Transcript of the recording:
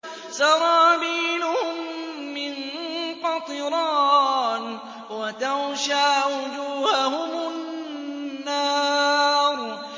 سَرَابِيلُهُم مِّن قَطِرَانٍ وَتَغْشَىٰ وُجُوهَهُمُ النَّارُ